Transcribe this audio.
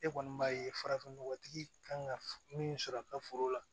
E kɔni b'a ye farafinnɔgɔtigi kan ka min sɔrɔ a ka foro la